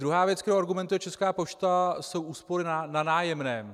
Druhá věc, kterou argumentuje Česká pošta, jsou úspory na nájemném.